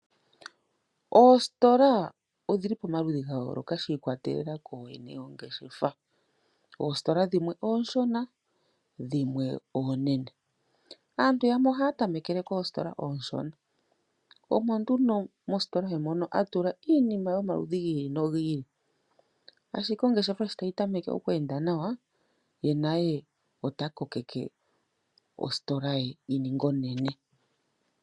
Oostola odhili pamaludhi ga yoloka shi ikwatelela ko yene yongeshefa. Oostola dhimwe onshona dhimwe oonene, aantu yamwe ohaya ta mekele kostola onshona omo nduno mostola ye mono hatula iinima yomaludhi gi ili nogo ili, ashike sho ongeshefa tayi tameke oku enda nawa ye naye ota kokeke ostola ye yi ninge onene.